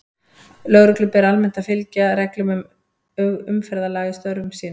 Lögreglu ber almennt að fylgja reglum umferðarlaga í störfum sínum.